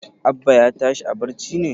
Abba ya tashi a barci ne?